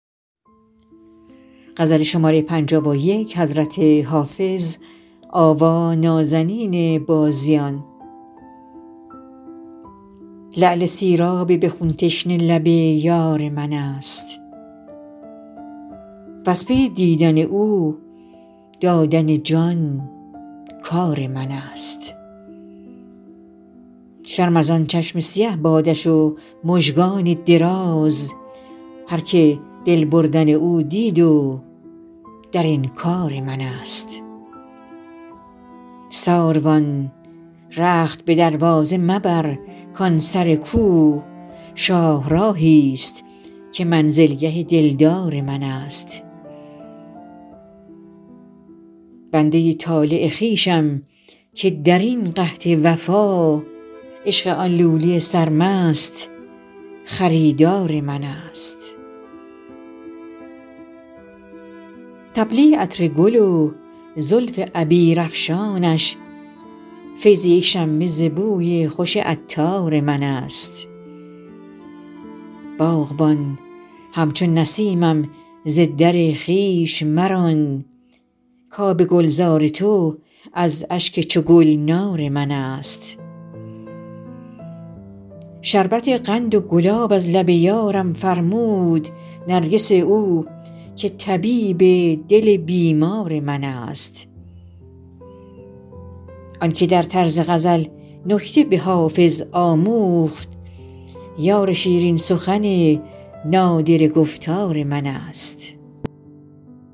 لعل سیراب به خون تشنه لب یار من است وز پی دیدن او دادن جان کار من است شرم از آن چشم سیه بادش و مژگان دراز هرکه دل بردن او دید و در انکار من است ساروان رخت به دروازه مبر کان سر کو شاهراهی ست که منزلگه دلدار من است بنده ی طالع خویشم که در این قحط وفا عشق آن لولی سرمست خریدار من است طبله ی عطر گل و زلف عبیرافشانش فیض یک شمه ز بوی خوش عطار من است باغبان همچو نسیمم ز در خویش مران کآب گلزار تو از اشک چو گلنار من است شربت قند و گلاب از لب یارم فرمود نرگس او که طبیب دل بیمار من است آن که در طرز غزل نکته به حافظ آموخت یار شیرین سخن نادره گفتار من است